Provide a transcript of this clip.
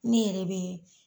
Ne yɛrɛ bɛ